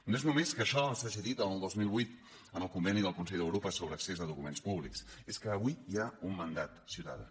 no és només que això s’hagi dit en el dos mil vuit en el conveni del consell d’europa sobre accés a documents públics és que avui hi ha un mandat ciutadà